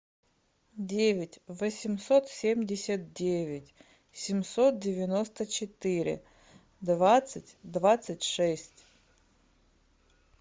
девять восемьсот семьдесят девять семьсот девяносто четыре двадцать двадцать шесть